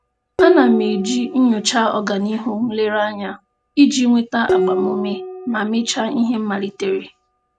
A na m eji nnyocha ọganihu nlereanya iji nweta agbamuume ma mechaa ihe m malitere.